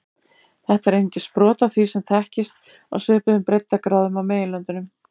Þetta er einungis brot af því sem þekkist á svipuðum breiddargráðum á meginlöndunum.